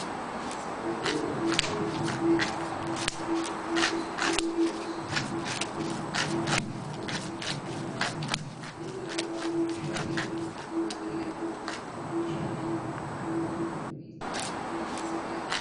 Ooyiruun baala shaayiin uwwifameera. Baalli shaayii Itiyoophiyaa keessatti yeroo dhiyoo as madda galii daldala alaa ta'ee tajaajilaa jira. Dhaabbileen garagaraa oomisha shaayii irratti hirmaatanii argamu . Baalli shaayii akka malee magariisa ta'e hurufa uwwisee argama.